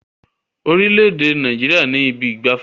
Orílẹ̀ èdè Nàìjíríà ní ibi ìgbafẹ́.